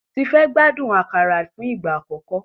Tife gbádùn àkàrà fún ìgbà àkọ́kọ́.